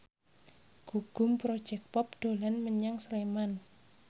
Gugum Project Pop dolan menyang Sleman